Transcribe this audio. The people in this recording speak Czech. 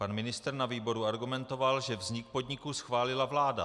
Pan ministr na výboru argumentoval, že vznik podniku schválila vláda.